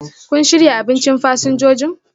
kun shirya abinchin fasinjojin?